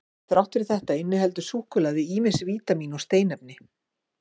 Þrátt fyrir þetta inniheldur súkkulaði ýmis vítamín og steinefni.